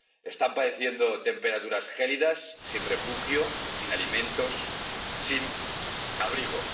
Están padeciendo temperaturas gélidas sin refugio, sin alimentos, sin abrigo.